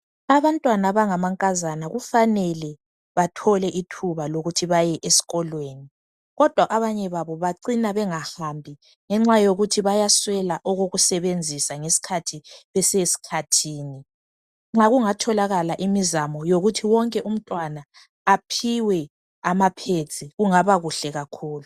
abantwana abangamankazana kufanele bathole ithuba lokuthi baye esikolweni kodwa abanye babo bacina bengahambi ngenxa yokuthi bayaswela okokusebenzisa ngesikhathi besesikhathini nxa kungatholaka imizamo yokuthi wokuthi wonke umntwana aphiwe ama pads kungaba kuhle kakhulu